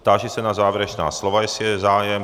Táži se na závěrečná slova, jestli je zájem.